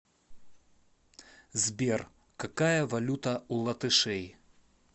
сбер какая валюта у латышей